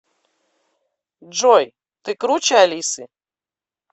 джой ты круче алисы